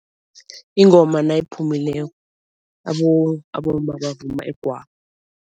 Ingoma nayiphumileko abomma bavuma igwabo.